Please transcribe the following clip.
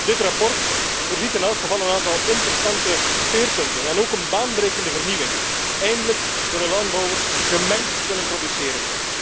Dit verslag voorziet in elk geval in een aantal interessante speerpunten en ook een baanbrekende vernieuwing eindelijk zullen landbouwers gemengd kunnen produceren.